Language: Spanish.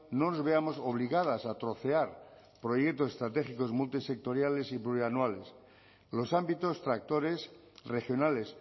no nos veamos obligadas a trocear proyectos estratégicos multisectoriales y plurianuales los ámbitos tractores regionales